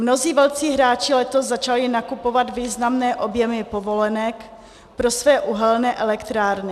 Mnozí velcí hráči letos začali nakupovat významné objemy povolenek pro své uhelné elektrárny.